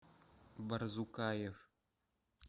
барзукаев